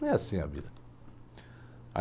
Não é assim a vida.